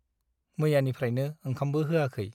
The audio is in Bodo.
मैयानिफ्रायनो ओंखामबो होआखै ।